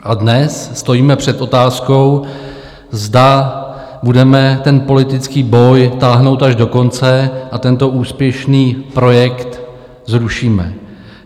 A dnes stojíme před otázkou, zda budeme ten politický boj táhnout až do konce a tento úspěšný projekt zrušíme.